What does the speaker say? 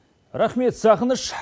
рахмет сағыныш